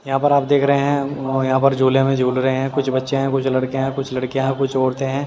यहाँ पर आप देख रहे हैं यहाँ पर झोले में झूल रहे हैं कुछ बच्चे हैं कुछ लड़के हैं कुछ लड़कियां हैं कुछ औरते हैं।